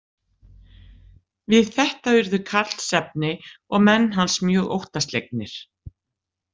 Við þetta urðu Karlsefni og menn hans mjög óttaslegnir.